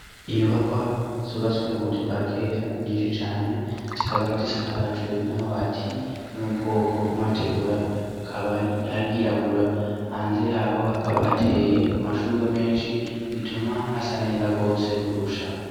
Inyubakwa subaswi mu buryo bwa kera nyinshi cane zikaba zisakajwe n'amabati yo mu bwoko bw'amategura akabaayirabura hanze yaho hakaba hateye amashurwe menshi bituma hasa neza rwose kurusha.